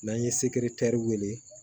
N'an ye sekitɛriw wele